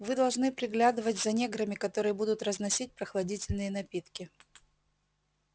вы должны приглядывать за неграми которые будут разносить прохладительные напитки